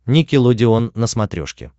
никелодеон на смотрешке